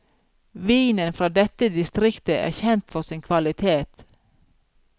Vinen fra dette distriktet er kjent for sin kvalitet.